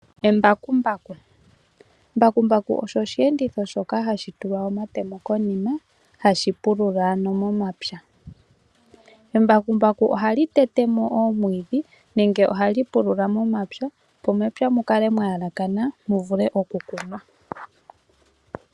Embakumbaku olyo osheenditho shoka hashi tulwa omatemo konima hashi pulula ano momapya. Embakumbaku ohali tete mo oomwiidhi nenge ohali pulula momapya opo mepya mukale mwa yelekana mu vulwe okukunwa.